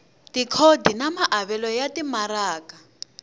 tikhodi na maavelo ya timaraka